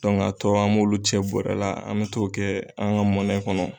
an tɔɔw an b'olu cɛ bɔrɛ la, an bɛ to kɛ an ka mɔnɛ kɔnɔ.